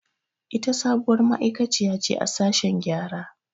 Ita sabuwar ma'aiƙaciya ce a sashen gƴara.